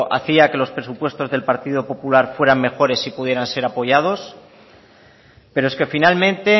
hacía que los presupuestos del partido popular fueran mejores y pudieran ser apoyados pero es que finalmente